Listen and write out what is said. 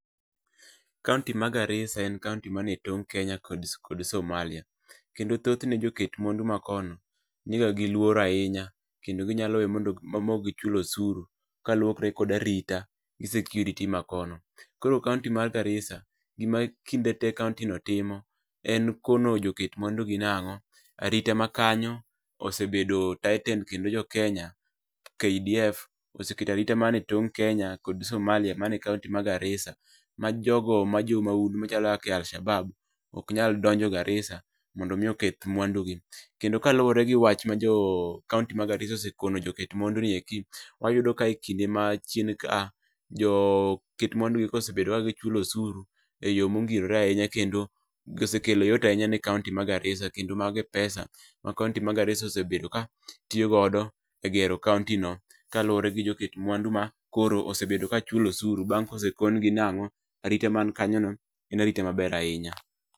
Kaunti ma Garissa en kaunti manie tong' Kenya gi Somalia kendo thothne joket mwandu makono niga gi luor ahinya kendo ginya weyo maok gichulo osuru kaluore kod arita gi security maono. Koro kaunti ma Garissa gima kinde te kaunti no timo en kono joket mwandu ni arita makano osebed tightened kendo jokenya KDF oseketo arita manie tong' mar Kenya kod Somalia manie kaunti ma Garisaa ma jogo ma jomaundu machalo kaka Alshabaab ok nyal donjo Garissa mondo oketb mwandugi. Kendo kaluore gi wach ma jo kaunti ma Garisssa oseketo joket mwandu gieko, wayudo ka ekinde machien ka, joket mwandu osebedo kachulo osuru e yoo mongirore ahinya kendo osekelo yot ahinya ne kaunti ma Garissa kendo mago e pesa ma kaunti ma Garissa osebedo ka tiyo godo e gero kaunti no kaluore gi joket mwandu mosebedo ka chulo osuru kaluore bang' kosekon gi nango, arita man kanyono en arita maber ahinya